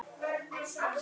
Efstu menn í mótinu